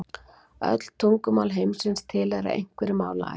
Öll tungumál heimsins tilheyra einhverri málaætt.